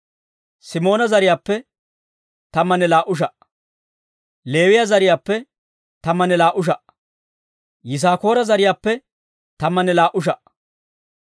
Simoona zariyaappe tammanne laa"u sha"aa. Leewiyaa zariyaappe tammanne laa"u sha"aa. Yisaakoora zariyaappe tammanne laa"u sha"aa.